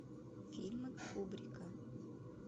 фильмы кубрика